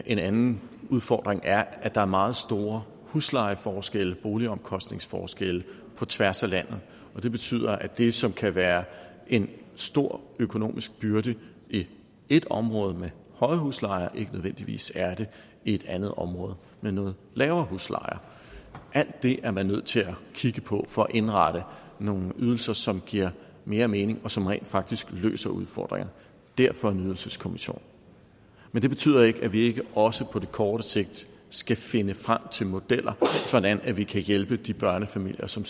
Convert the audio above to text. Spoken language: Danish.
en anden udfordring er at der er meget store huslejeforskelle boligomkostningsforskelle på tværs af landet og det betyder at det som kan være en stor økonomisk byrde i et område med høje huslejer ikke nødvendigvis er det i et andet område med nogle lavere huslejer alt det er man nødt til at kigge på for at indrette nogle ydelser som giver mere mening og som rent faktisk løser udfordringerne derfor en ydelseskommission men det betyder ikke at vi ikke også på kort sigt skal finde frem til modeller sådan at vi kan hjælpe de børnefamilier som